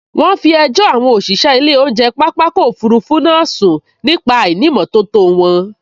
Wọ́n fi ẹjọ́ àwọn òṣìṣẹ́ ilé oúnjẹ pápákọ̀ òfurufú náà sun nípa àìnìmótótó wọn